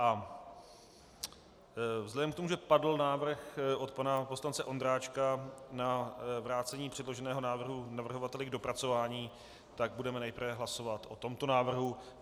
A vzhledem k tomu, že padl návrh od pana poslance Ondráčka na vrácení předloženého návrhu navrhovateli k dopracování, tak budeme nejprve hlasovat o tomto návrhu.